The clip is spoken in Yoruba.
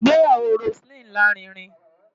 Ìgbéyàwó Roseline lárinrin.